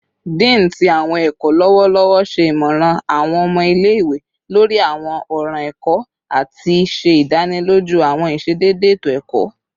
Dean ti Awọn ẹkọ lọwọlọwọ ṣe imọran awọn ọmọ ile-iwe lori awọn ọran ẹkọ ati ṣe idaniloju awọn iṣedede eto-ẹkọ